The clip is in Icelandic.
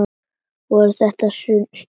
Voru þetta stunur?